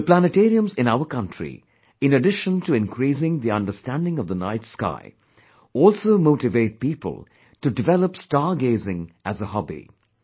The planetariums in our country, in addition to increasing the understanding of the night sky, also motivate people to develop star gazing as a hobby